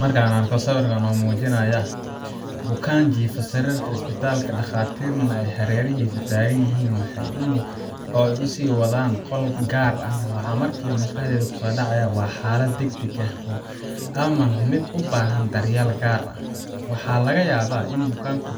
Marka aan arko sawirkan oo muujinaya bukaan jiifa sariirta isbitaalka, dhakhaatiirna ay hareerihiisa taagan yihiin oo ay u sii wadaan qolka gaar ah, waxa markiiba maskaxdayda ku soo dhacaya waa xaalad degdeg ah ama mid u baahan daryeel gaar ah. Waxaa laga yaabaa in bukaanku